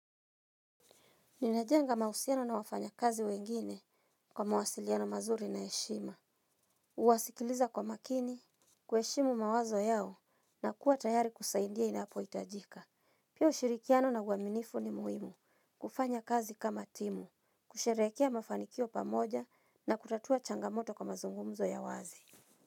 Ninajenga mahusiano na wafanyakazi wengine kwa mawasiliano mazuri na heshima. Huwasikiliza kwa makini, kuheshimu mawazo yao na kuwa tayari kusaidia inapohitajika. Pia ushirikiano na uaminifu ni muhimu kufanya kazi kama timu, kusherekea mafanikio pamoja na kutatua changamoto kwa mazungumzo ya wazi.